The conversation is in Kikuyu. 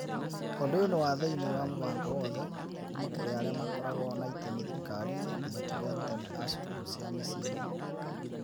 Ũndũ ũyũ nĩ wa ma thĩinĩ wa mũbango wothe, kuuma kũrĩ arĩa makoragwo na itemi thirikari-inĩ nginya kũrĩ arutani a cukuru cia mĩciĩ-inĩ.